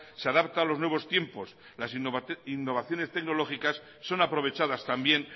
se adapta a los nuevos tiempos las innovaciones tecnológicas son aprovechadas también